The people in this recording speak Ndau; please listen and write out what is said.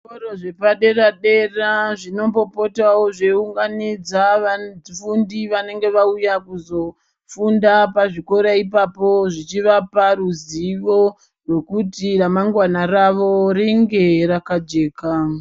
Zvikoro zvepadera-dera zvinombopotawo zveiunganidza vafundi vanenge vauya kuzofunda pazvikora ipapo zvichivapa ruzivo rwekuti ramangwana ravo ringe rakajeka.